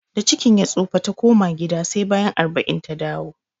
Da cikin ya tsofa, ta koma gida sai bayan arba'in ta dawo